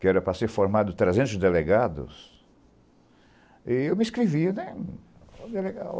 que era para ser formado trezentos delegados, eu e me inscrevia né, olha que legal